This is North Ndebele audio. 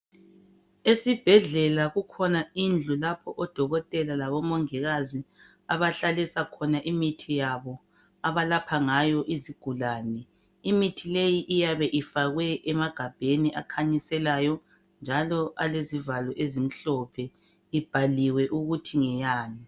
Esibhedlela kukhona indlu lapho odokotela labomongikazi abahlalisa khona imithi yabo abalapha ngayo izigulani. Imithi leyi iyabe ifakwe emagabheni akhanyiselayo njalo alezivalo ezimhlophe ibhaliwe ukuthi ngeyani.